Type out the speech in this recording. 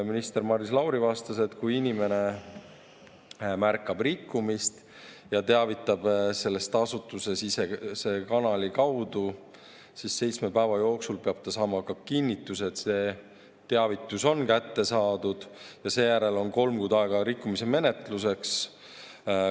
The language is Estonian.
Minister Maris Lauri vastas, et kui inimene märkab rikkumist ja teavitab sellest asutusesisese kanali kaudu, siis seitsme päeva jooksul peab ta saama ka kinnituse, et see teavitus on kätte saadud, ja seejärel on kolm kuud aega rikkumise menetluseks.